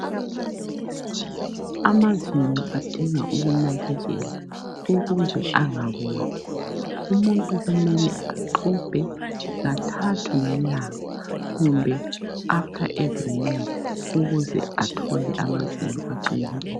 Amazinyo ayadinga ukunakekelwa ukuze angaboli. Umuntu kumele axubhe kathathu ngelanga kumbe ngaso sonke isikhathi eqeda ukudla ukuze athole amazinyo aqinileyo.